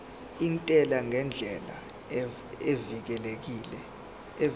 intela ngendlela evikelekile